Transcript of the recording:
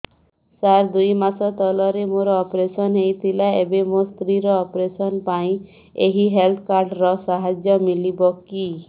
ସାର ଦୁଇ ମାସ ତଳରେ ମୋର ଅପେରସନ ହୈ ଥିଲା ଏବେ ମୋ ସ୍ତ୍ରୀ ର ଅପେରସନ ପାଇଁ ଏହି ହେଲ୍ଥ କାର୍ଡ ର ସାହାଯ୍ୟ ମିଳିବ କି